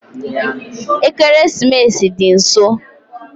Ekeresimesi dị nso